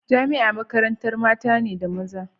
Jamia makarantar mata da maza ce